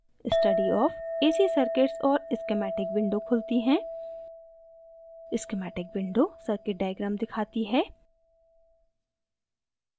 study of ac circuits और schematic windows खुलती है schematic windows circuits diagram दिखाती है